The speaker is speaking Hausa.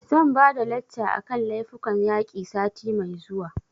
Zan ba da lacca a kan laifukan yaƙi sati mai zuwa